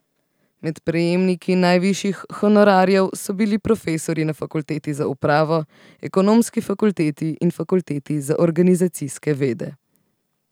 Med prejemniki najvišjih honorarjev so bili profesorji na fakulteti za upravo, ekonomski fakulteti in fakulteti za organizacijske vede.